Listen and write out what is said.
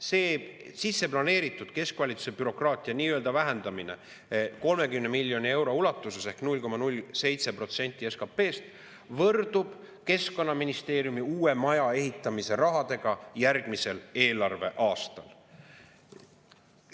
See sisse planeeritud keskvalitsuse bürokraatia nii-öelda vähendamine 30 miljoni euro ulatuses ehk 0,07% SKP-st võrdub keskkonnaministeeriumi uue maja ehitamise rahaga järgmisel eelarveaastal.